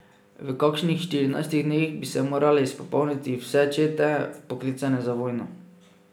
V kakšnih štirinajstih dneh bi se morale izpopolniti vse čete, vpoklicane za vojno.